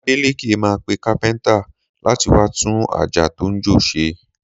Adélékè máa pe kápẹ́ntà láti wá tún àjà tó ń jò ṣe